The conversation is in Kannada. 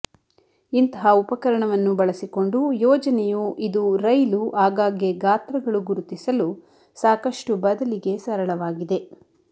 ಇಂತಹ ಉಪಕರಣವನ್ನು ಬಳಸಿಕೊಂಡು ಯೋಜನೆಯು ಇದು ರೈಲು ಆಗಾಗ್ಗೆ ಗಾತ್ರಗಳು ಗುರುತಿಸಲು ಸಾಕಷ್ಟು ಬದಲಿಗೆ ಸರಳವಾಗಿದೆ